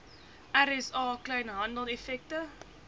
rsa kleinhandel effekte